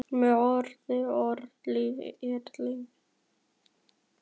Með öðrum orðum- lífið er leiksýning.